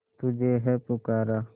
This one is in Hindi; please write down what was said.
तुझे है पुकारा